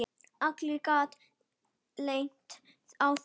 Allir geta lent í því.